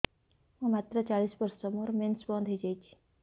ମୁଁ ମାତ୍ର ଚାଳିଶ ବର୍ଷ ମୋର ମେନ୍ସ ବନ୍ଦ ହେଇଯାଇଛି